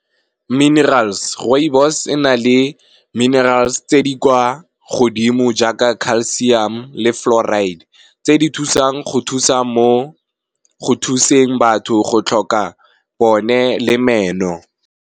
Minerals, rooibos e na le minerals tse di kwa godimo jaaka calcium le fluoride, tse di thusang go thusa mo go thuseng batho go tlhoka bone le meno.